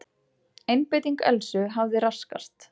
Einbeiting Elsu hafði raskast.